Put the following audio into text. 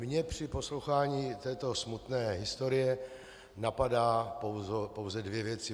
Mě při poslouchání této smutné historie napadají pouze dvě věci.